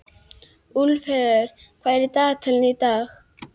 Úlfheiður, hvað er í dagatalinu í dag?